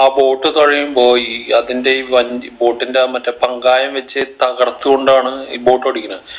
ആ boat തുഴയുമ്പോ ഈ അതിൻ്റെ ഈ വഞ്ചി boat ന്റെ ആ മറ്റേ പങ്കായം വെച്ച് തകർത്തുകൊണ്ടാണ് ഈ boat ഓടിക്കുണെ